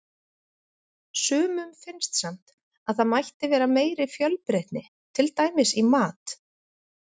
Sumum finnst samt að það mætti vera meiri fjölbreytni, til dæmis í mat.